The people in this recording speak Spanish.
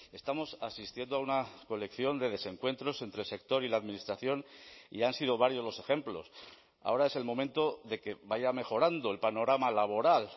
estamos asistiendo a una colección de desencuentros entre el sector y la administración y han sido varios los ejemplos ahora es el momento de que vaya mejorando el panorama laboral